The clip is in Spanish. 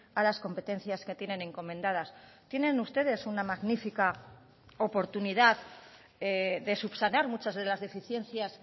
a las competencias que tienen encomendadas tienen ustedes una magnífica oportunidad de subsanar muchas de las deficiencias